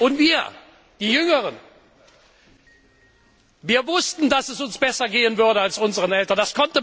Und wir, die Jüngeren, wir wussten, dass es uns besser gehen würde als unseren Eltern.